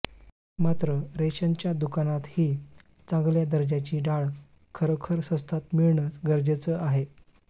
मात्र रेशनच्या दुकानातही चांगल्या दर्जाची डाळ खरोखर स्वस्तात मिळणं गरजेचं आहे